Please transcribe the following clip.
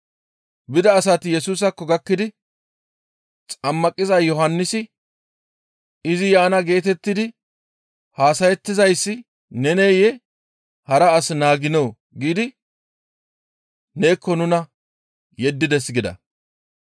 Bida asati Yesusaakko gakkidi, «Xammaqiza Yohannisi, ‹Izi yaana geetettidi haasayettizayssi neneyee? Hara as naaginoo?› giidi neekko nuna yeddides» gida.